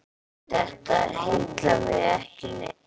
Þetta heillar mig ekki neitt.